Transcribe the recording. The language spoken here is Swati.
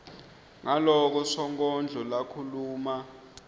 ngaloko sonkondlo lakhuluma